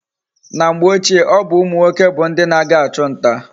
Na mgbe ochie, obu umu nwoke bu ndi na aga achu nta